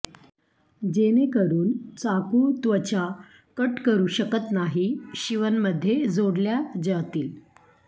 जेणेकरून चाकू त्वचा कट करू शकत नाही शिवण मध्ये जोडल्या जातील